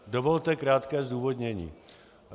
Dovolte krátké zdůvodnění.